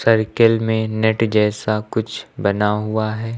Circle में net जैसा कुछ बना हुआ है।